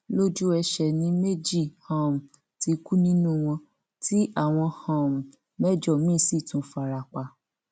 lójú ẹsẹ ni méjì um ti kú nínú wọn tí àwọn um mẹjọ míín sì tún farapa